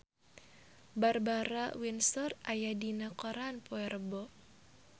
Barbara Windsor aya dina koran poe Rebo